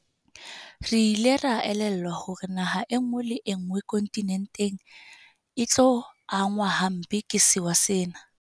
Re ile ra elellwa hore naha enngwe le enngwe kontinenteng e tlo angwa hampe ke sewa sena.